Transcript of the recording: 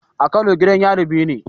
A kano gidan yarin biyu ne